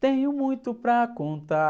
Tenho muito para contar.